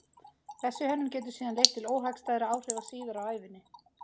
Þessi hönnun getur síðan leitt til óhagstæðra áhrifa síðar á ævinni.